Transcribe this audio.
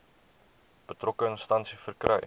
betrokke instansie verkry